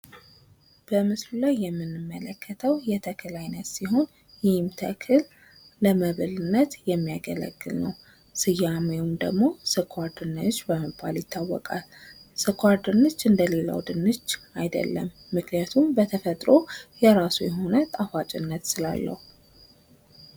በምስሉ ላይ የምንመለከተው የተክል አይነት ሲሆን ፤ ይህም ተክል ለምግብነት የሚያገለግል ሲሆን ስኳር ድንች ይባላል ። ስኳር ድንች እንደሌላው አይደለም ምክንያቱም በተፈትሮው ጣፋጭነት ስላለው።